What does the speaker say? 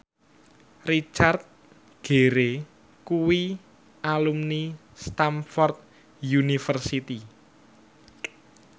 Richard Gere kuwi alumni Stamford University